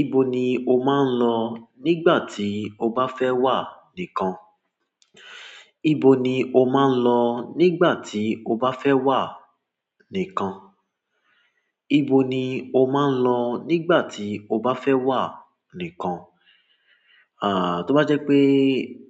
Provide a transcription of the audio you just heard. Ibo ni o máa ń lọ nígbà tí o bá fẹ́ wà nìkan? Ibo ni o máa ń lọ nígbà tí o bá fẹ́ wà nìkan? Ibo ni o máa ń lọ nígbà tí o bá fẹ́ wà nìkan? À, tó bá jẹ́ pé